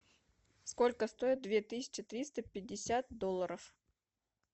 сколько стоит две тысячи триста пятьдесят долларов